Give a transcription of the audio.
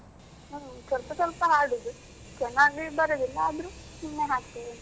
ಹ್ಮ ಸ್ವಲ್ಪ ಸ್ವಲ್ಪ ಹಾಡುದು ಚೆನ್ನಾಗಿ ಬರುದಿಲ್ಲ ಆದ್ರೂ ಸುಮ್ನೆ ಹಾಡ್ತೇನೆ.